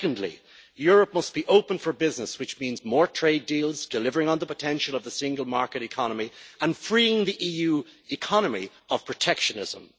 Secondly, Europe must be open for business, which means more trade deals, delivering on the potential of the single market economy and freeing the EU economy of protectionism.